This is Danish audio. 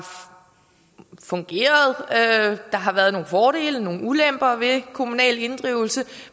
fungeret der har været nogle fordele nogle ulemper ved kommunal inddrivelse